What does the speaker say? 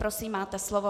Prosím, máte slovo.